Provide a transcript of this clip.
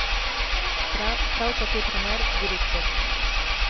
Prav tako trener, direktor ...